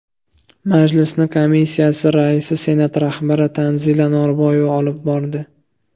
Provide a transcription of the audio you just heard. Majlisni komissiya raisi Senat rahbari Tanzila Norboyeva olib bordi.